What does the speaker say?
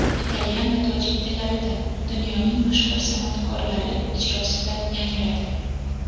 italyan va tojik tillarida) dunyoning mashhur san’atkorlari ijrosida yangradi.